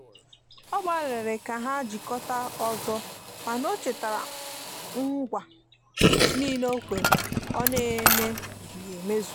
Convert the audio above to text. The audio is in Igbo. ọ gbaliri ka ha jikota ọzọmana o chetara ngwa nile okwere ọ na eme zughi emezụ